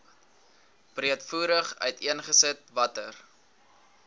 breedvoerig uiteengesit watter